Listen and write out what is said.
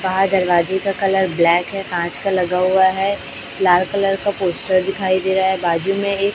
बाहर दरवाजे का कलर ब्लैक है कांच का लगा हुआ है लाल कलर का पोस्टर दिखाई दे रहा है बाजू में एक--